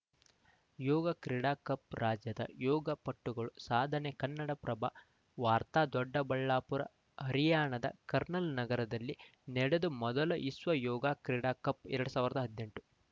ಯೋಗ ಕ್ರೀಡಾ ಕಪ್‌ ರಾಜ್ಯದ ಯೋಗ ಪಟುಗಳ ಸಾಧನೆ ಕನ್ನಡಪ್ರಭ ವಾರ್ತ ದೊಡ್ಡಬಳ್ಳಾಪುರ ಹರಿಯಾಣದ ಕಾರ್ನಲ್‌ ನಗರದಲ್ಲಿ ನಡೆದು ಮೊದಲ ವಿಶ್ವ ಯೋಗಾ ಕ್ರೀಡಾ ಕಪ್‌ ಎರಡ್ ಸಾವಿರದ ಹದಿನೆಂಟು